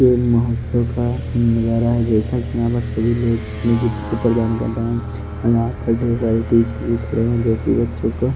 के महोत्सव का नजारा है जैसा कि यहां पर सभी लोग अपने गिफ्ट को प्रदान कर रहे हैं यहां पर ढेर सारे टीचर भी खड़े हैं जो कि बच्चों को--